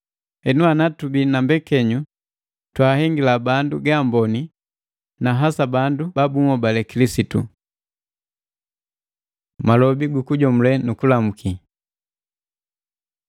Henu ana tubii na mbekenyu twahengila bandu gaamboni na hasa bandu ba bunhobali Kilisitu. Malobi gukujomule nu kulamu